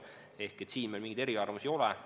Ehk siin meil mingisuguseid eriarvamusi ei ole.